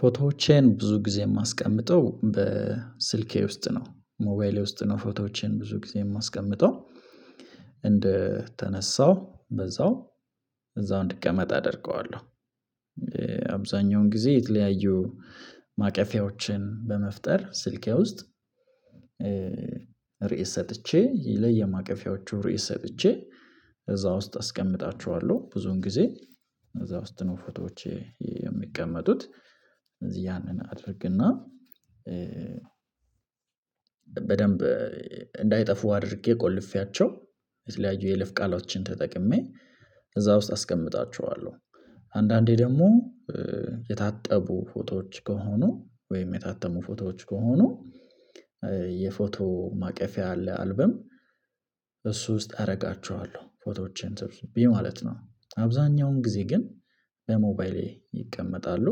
ፎቶዎቼን ብዙ ጊዜ የማስቀምጠው በስልኬ ውስጥ ነው ሞባይሌ ውስጥ ነው ፎቶዎቼን ብዙ ጊዜ የማስቀምጠው እንደተነሳው በዛው እዛው እንዲቀመጥ አደርገዋለሁ። አብዛኛውን ጊዜ የተለያዩ ማቀፊያዎችን በመፍጠር ስልኬ ውስጥ ርዕስ ሰጥቼ ለየማቀፊያዎቹ ርዕስ ሰጥቼ እዛ ውስጥ አስቀምጣችኋለሁ ብዙን ጊዜ እዛ ውስጥ ነው ፎቶዎቼ የሚቀመጡት። ስለዚህ ያንን አድርግና በደንብ እንዳይጠፉ አድርጌ ቆልፌያቸው የተለያዩ የይለፍ ቃሎችን ተጠቅሜ እዛ ውስጥ አስቀምጣቸዋለሁ። አንዳንዴ ደግሞ የታጠቡ ፎቶዎች ከሆኑ ወይም የታተሙ ፎቶዎች ከሆኑ የፎቶ ማቀፊያ አለ አልበም እሱ ውስጥ አረጋቸኋለሁ ፎቶዎችን ሰብስቤ ማለት ነው አብዛኛውን ጊዜ ግን በሞባይሌ ይቀመጣሉ።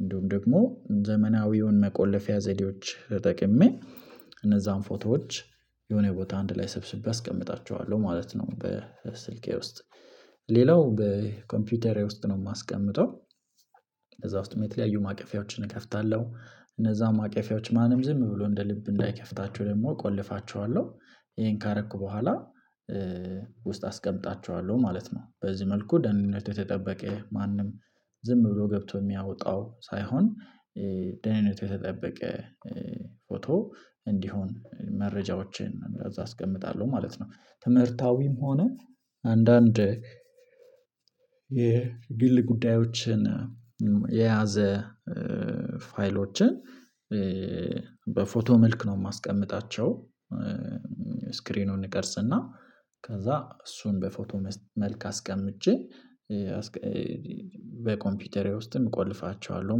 እንዲሁም ደግሞ ዘመናዊውን መቆለፊያ ዘዴዎች ተጠቅሜ እነዛን ፎቶዎች የሆነ ቦታ አንድ ላይ ሰብስቤ አስቀምጣቸኋለሁ ማለት ነው። በስልኬ ውስጥ ሌላው በኮምፒውተሬ ውስጥ ነው የማስቀምጠው እዛ ውስጥም የተለያዩ ማቀፊያዎችን እከፍታለሁ እነዛም አቅፊያዎች ማንም ዝም ብሎ እንደ ልብ እንዳይከፍታቸው ደግሞ እቆልፋቸዋለሁ። ይሄን ካረኩ በኋላ ውስጥ አስቀምጣቸኋለሁ ማለት ነው። በዚህ መልኩ ደህንነቱ የተጠበቀ ማንም ዝም ብሎ ገብቶ የሚያወጣው ሳይሆን ደህንነቱ የተጠበቀ ፎቶ እንዲሆን መረጃዎችን እዛ አስቀምጣለሁ ማለት ነው። ትምህርታዊም ሆነ አንዳንድ የግል ጉዳዮችን የያዘ ፋይሎችን በፎቶ መልክ ነው የማስቀምጣቸው። ስክሪኑን እቀርፅና ከዛ እሱን በፎቶ መልክ አስቀምጬ በኮምፒውተሬ ውስጥም እቆልፋቸኋለሁ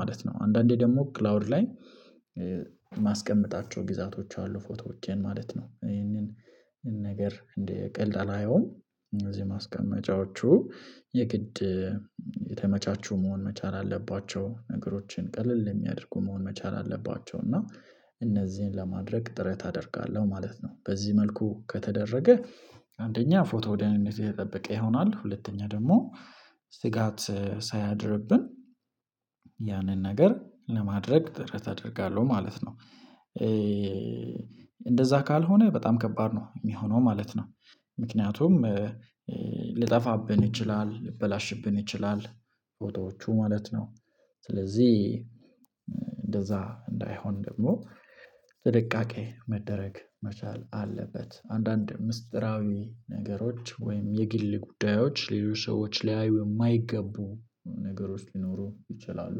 ማለት ነው። አንዳንዴ ደግሞ ክላውድ ላይ ማስቀመጣቸው ግዜያቶች አሉ ፎቶዎቼን ማለት ነው። ይሄንን ነገር እንደ ቀልድ አላየውም። እነዚህ ማስቀመጫዎቹ የግድ የተመቻቹ መሆን መቻል አለባቸው ነገሮችን ቀለል የሚያደርጉ መሆን መቻል አለባቸው። እና እነዚህን ለማድረግ ጥረት አደርጋለሁ ማለት ነው። በዚህ መልኩ ከተደረገ አንደኛ ፎቶ ደህንነቱ የተጠበቀ ይሆናል። ሁለተኛ ደግሞ ስጋት ሳያድርብን ያንን ነገር ለማድረግ ጥረት አደርጋለሁ ማለት ነው። እንደዛ ካልሆነ በጣም ከባድ ነው የሚሆነው ማለት ነው። ምክንያቱም ሊጠፋብን ይችላል ሊበላሽብን ይችላል ፎቶዎቹ ማለት ነው። ስለዚህ እንደዛ እንዳይሆን ደግሞ ጥንቃቄ መደረግ መቻል አለበት። አንዳንድ ሚስጢራዊ ነገሮች ወይም የግል ጉዳዮች ሌሎች ሰዎች ሊያዩ የማይገቡ ነገሮች ሊኖሩ ይችላሉ።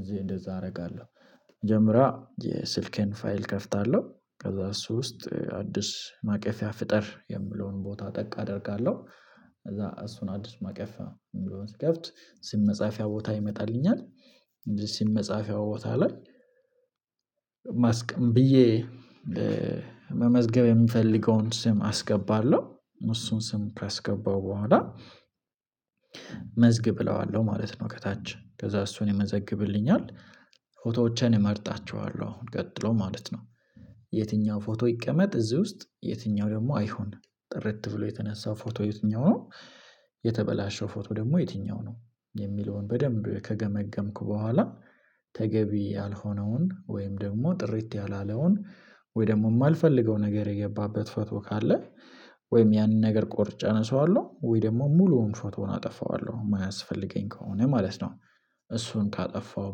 እዚህ እንደዛ አደርጋለሁ። መጀመሪያ የስልኬን ፋይል እከፍታለሁ ከዛ እሱ ውስጥ አዲስ ማቀፊያ ፍጠር የምለውን ቦታ ጠቅ አደርጋለሁ። ከዛ እሱን አዲስ ማቀፊያ የሚለውን ስከፍት ስም መጻፊያ ቦታ ይመጣልኛል። ስም መጻፊያ ቦታ ላይ ማስቀም ብዬ መመዝገብ የምፈልገውን ስም አስገባለሁ። እሱን ስም ካስገባው በኋላ መዝግብ እለዋለሁ ማለት ነው። ከታች ከዛ እሱን የመዘግብልኛል ፎቶዎችን እመርጣቸዋለሁ አሁን ቀጥሎ ማለት ነው። የትኛው ፎቶ ይቀመጥ እዚህ ውስጥ የትኛው ደግሞ አይሁን ጥርት ብሎ የተነሳው ፎቶ የትኛው ነው? የተበላሸው ፎቶ ደግሞ የትኛው ነው? የሚለውን በደንብ ከገመገምኩ በኋላ ተገቢ ያልሆነውን ወይም ደግሞ ጥርት ያላለውን ወይ ደግሞ የማልፈልገው ነገር የገባበት ፎቶ ካለ ወይም ያንን ነገር ቆርጬ አነሳዋለሁ ወይ ደግሞ ሙሉውን ፎቶውን አጠፋዋለሁ የማያስፈልገኝ ከሆነ ማለት ነው። እሱን ካጠፋው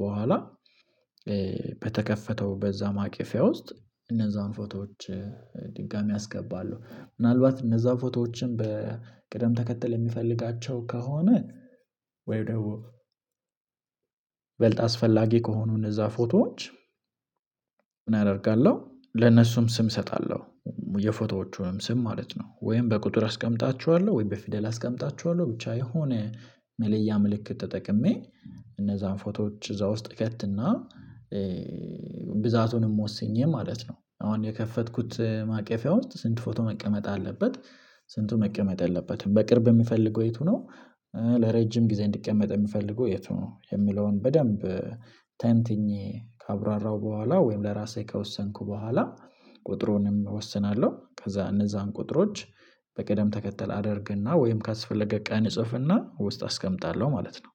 በኋላ በተከፈተው በዛ ማቅፈያ ውስጥ እነዛን ፎቶዎች ድጋሚ አስገባለሁ ምናልባት እነዛን ፎቶዎችን በቅደም ተከተል የምፈልጋቸው ከሆነ። ወይ ደግሞ ይበልጥ አስፈላጊ ከሆኑ እነዛ ፎቶዎች ምን አደርጋለሁ ለነሱም ስም እሰጣለሁ። የፎቶዎቹንም ስም ማለት ነው ወይም በቁጥር አስቀምጣችኋለሁ ወይም በፊደል አስቀምጣችኋለሁ ብቻ የሆነ መለያ ምልክት ተጠቅሜ እነዛን ፎቶዎች እዛ ውስጥ እከትና። ብዛቱንም ወስኜ ማለት ነው። አሁን የከፈትኩት ማቀፊያ ውስጥ ስንት ፎቶ መቀመጥ አለበት? ስንቱ መቀመጥ የለበትም? በቅርብ የምፈልገው የቱ ነው? ለረጅም ጊዜ እንዲቀመጥ የምፈልገው የቱ ነው? የሚለውን በደንብ ተንትኜ ካብራራው በኋላ ወይም ለራሴ ከወሰንኩ በኋላ ቁጥሩንም እወስናለሁ። ከዛ እነዛን ቁጥሮች በቅደም ተከተል አደርግና ወይም ካስፈለገ ቀን እጽፍና ውስጥ አስቀምጣለሁ ማለት ነው።